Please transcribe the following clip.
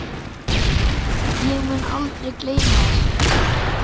Ég mun aldrei gleyma þessu.